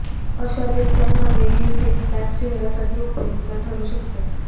अशा दिवसांमध्ये हे फेस पॅक चेहऱ्यासाठी उपयुक्त ठरू शकते